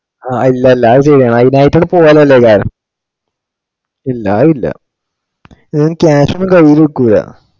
ആ ഇല്ലില്ല അത് ചെയ്യണം അതിനായിട്ടു പോയാലല്ലേ ഇതാവുള്ളു. ഇല്ല അതില്ല. ഇതിനു cash ഒന്നും കയില് നിക്കുല്ല.